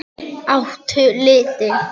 Áttu liti?